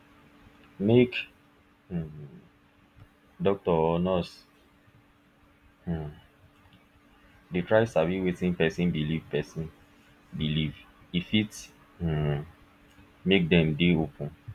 make um doctor or nurse um dey try sabi wetin person believe person believe e fit um make dem dey open